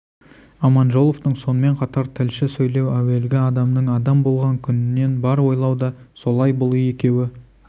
аманжоловтың сонымен қатар тілші сөйлеу әуелгі адамның адам болған күнінен бар ойлау да солай бұл екеуі